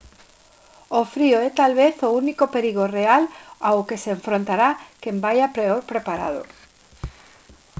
o frío é talvez o único perigo real ao que se enfrontará quen vaia peor preparado